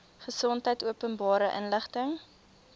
gesondheid openbare inligting